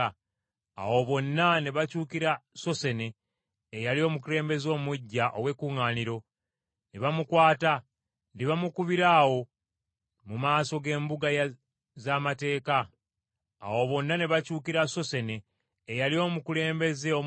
Awo bonna ne bakyukira Sossene, eyali omukulembeze omuggya ow’ekkuŋŋaaniro, ne bamukwata, ne bamukubira awo mu maaso g’embuga z’amateeka. Kyokka Galiyo teyabafaako.